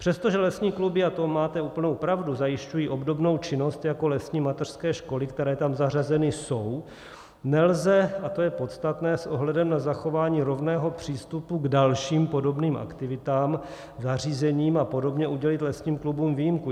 Přestože lesní kluby, a to máte úplnou pravdu, zajišťují obdobnou činnost jako lesní mateřské školy, které tam zařazeny jsou, nelze, a to je podstatné, s ohledem na zachování rovného přístupu k dalším podobným aktivitám, zařízením a podobně udělit lesním klubům výjimku.